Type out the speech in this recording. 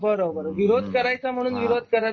बरोबर विरोध करायचा म्हणून विरोध करत नसत